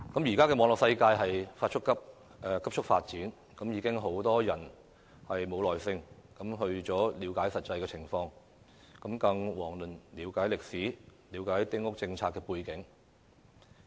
現時網絡世界急速發展，很多人已經沒有耐性了解實際的情況，更遑論要了解歷史和丁屋政策的背景。